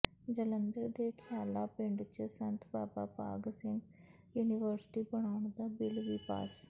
ਜਲੰਧਰ ਦੇ ਖਿਆਲਾ ਪਿੰਡ ਚ ਸੰਤ ਬਾਬਾ ਭਾਗ ਸਿੰਘ ਯੂਨੀਵਰਸਿਟੀ ਬਣਾਉਣ ਦਾ ਬਿਲ ਵੀ ਪਾਸ